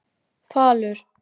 Falur